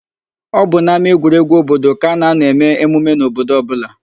Ọ bụ n'ámáegwuregwu obodo ka a na-anọ eme emume n'obodo ọbụla.